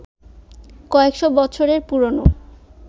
কয়েকশ বছরের পুরনো